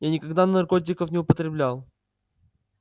я никогда наркотиков не употреблял